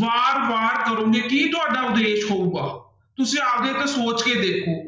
ਬਾਰ ਬਾਰ ਕਰੋਂਗੇ ਕੀ ਤੁਹਾਡਾ ਉਦੇਸ਼ ਹੋਊਗਾ ਤੁਸੀਂ ਆਪਦੇ ਤੋਂ ਸੋਚ ਕੇ ਦੇਖੋ